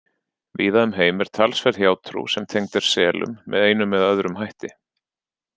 Víða um heim er talsverð hjátrú sem tengd er selum með einum eða öðrum hætti.